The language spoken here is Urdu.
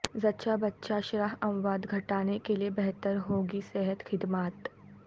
زچہ بچہ شرح اموات گھٹانے کیلئے بہتر ہوں گی صحت خد مات